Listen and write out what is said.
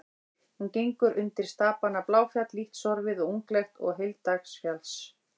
Hún gengur undir stapana Bláfjall, lítt sorfið og unglegt, og Heilagsdalsfjall.